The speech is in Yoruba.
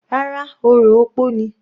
Rárá, orò opó ni.